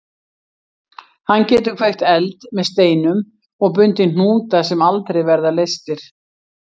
Hann getur kveikt eld með steinum og bundið hnúta sem aldrei verða leystir.